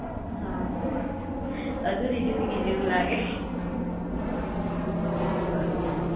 હા અધૂરી જિંદગી જેવુ લાગે બરોબર